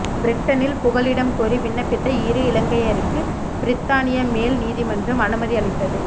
பிரிட்டனில் புகலிடம்கோரி விண்ணப்பித்த இரு இலங்கையருக்கு பிரித்தானிய மேல் நீதிமன்றம் அனுமதி அளித்தது